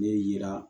Ne yira